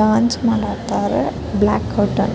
dance ಮಾದಾತಾರ black --